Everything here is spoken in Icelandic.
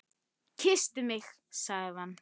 Kysstu mig sagði hann.